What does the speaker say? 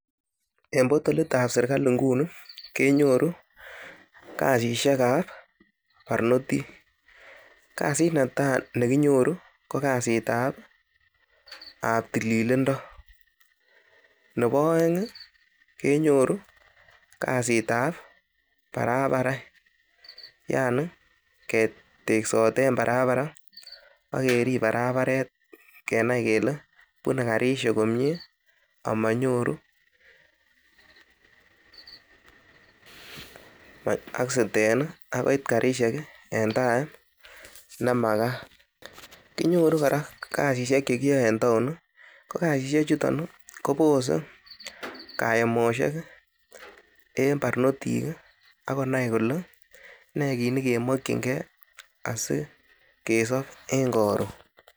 En portolit ab serkalit nguni kenyoru kasishek ab barnotik, kasit netai nekinyoru ko kasit ab tililindo, nebo oen kenyoru kasitab barabaret yaani keteksot ne barabara ak kerip barabaret kenai kele bune karisiek komie ama nyoru accident ak koit karishek en time nemakat. Kinyoru kora kasishek che kiyoe en taon ko kasishek chuton kobose kayemosiek en barnotik ak konai kole ne kit ne kemokinge asikesop en koron